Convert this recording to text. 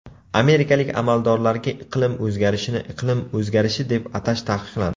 Amerikalik amaldorlarga iqlim o‘zgarishini iqlim o‘zgarishi deb atash taqiqlandi.